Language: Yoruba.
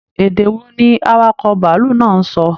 Èdè wò ní awakọ̀ bàálù náà n sọ?